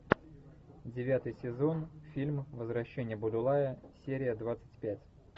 девятый сезон фильм возвращение будулая серия двадцать пять